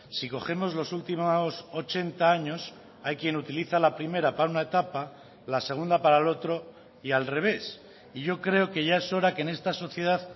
si cogemos los últimos ochenta años hay quien utiliza la primera para una etapa la segunda para el otro y al revés y yo creo que ya es hora que en esta sociedad